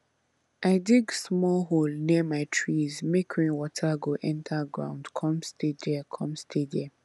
i dig small hole near my trees make rainwater go enter ground come stay there come stay there